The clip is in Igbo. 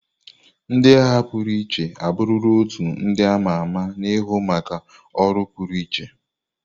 Ndị agha pụrụ iche abụrụla otu ndị ama ama na-ahụ maka ọrụ pụrụiche.